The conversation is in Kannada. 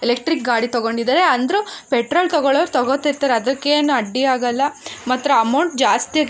ಎಲೆಕ್ಟ್ರಿಕ್ ಗಾಡಿ ತಗೊಂಡಿದರೆ ಅಂದ್ರು ಪೆಟ್ರೋಲ್ ದು ತಗೋಳೋರು ತಗೋತಿರ್ತಾರೆ ಅದಕ್ಕೇನ್ ಅಡ್ಡಿ ಆಗಲ್ಲ ಅಮೌಂಟ್ ಜಾಸ್ತಿ --